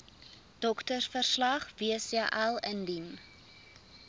doktersverslag wcl indien